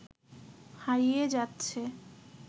হারিয়ে যাচ্ছে